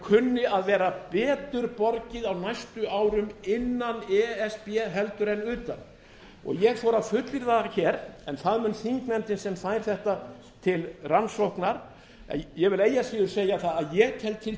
kunni að vera betur borgið á næstu árum innan e s b heldur en utan ég þori að fullyrða það hér en það mun þingnefndin sem fær þetta til rannsóknar ég vil eigi að síður segja að ég tel til